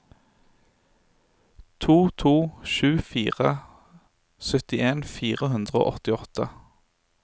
to to sju fire syttien fire hundre og åttiåtte